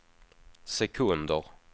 sekunder